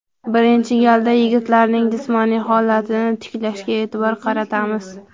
Birinchi galda yigitlarning jismoniy holatini tiklashga e’tibor qaratamiz.